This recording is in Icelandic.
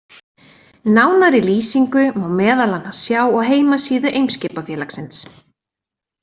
Nánari lýsingu má meðal annars sjá á heimasíðu Eimskipafélagsins.